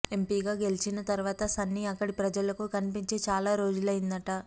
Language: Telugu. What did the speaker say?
ఎంపీగా గెలిచిన తర్వాత సన్నీ అక్కడి ప్రజలకు కన్పించి చాలా రోజులైందట